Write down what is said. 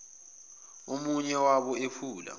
omunye wabo ephula